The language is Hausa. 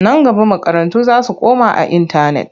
Nan gaba makarantu za su koma a intanet.